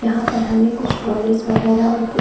यहाँ पर हमें कुछ पॉलिश वगैरा और कुछ --